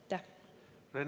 Aitäh!